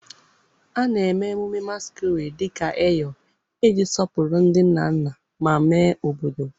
A na-eme emume Masquerade dị ka Eyo iji sọpụrụ ndị nna nna ma mee obodo.